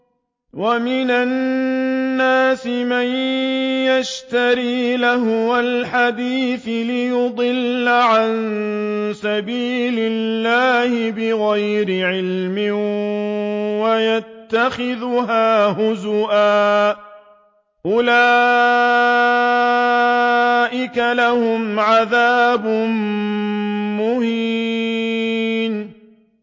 وَمِنَ النَّاسِ مَن يَشْتَرِي لَهْوَ الْحَدِيثِ لِيُضِلَّ عَن سَبِيلِ اللَّهِ بِغَيْرِ عِلْمٍ وَيَتَّخِذَهَا هُزُوًا ۚ أُولَٰئِكَ لَهُمْ عَذَابٌ مُّهِينٌ